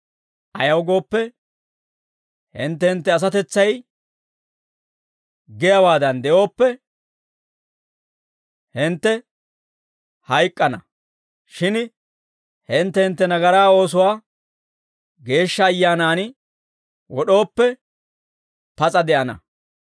Ayaw gooppe, hintte hintte asatetsay giyaawaadan de'ooppe, hintte hayk'k'ana; shin hintte hintte nagaraa oosuwaa Geeshsha Ayyaanan wod'ooppe, pas'a de'ana.